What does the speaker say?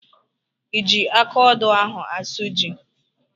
I ji akaodo ahụ asụ ji?